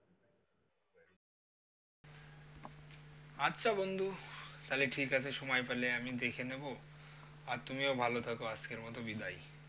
আছা বন্ধু, তালে ঠিকাছে সময় পেলে আমি দেখে নিব, আর তুমিও ভালো থাকো আজকের মতো বিদায়।